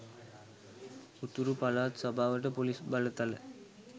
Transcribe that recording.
උතුරු පළාත් සභාවට පොලිස් බලතල